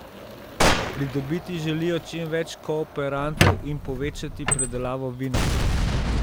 Pridobiti želijo čim več kooperantov in povečati pridelavo vina.